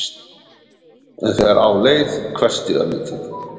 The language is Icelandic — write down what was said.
En þegar á leið hvessti örlítið.